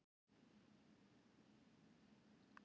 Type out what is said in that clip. Nema dýr, við erum ekki með dýr.